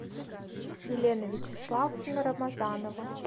елена вячеславовна рамазанова